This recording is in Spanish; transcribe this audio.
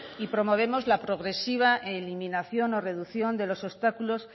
y promovemos la progresiva eliminación o reducción de los obstáculos